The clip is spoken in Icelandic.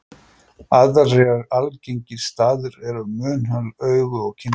Aðrir algengir staðir eru munnhol, augu og kynfæri.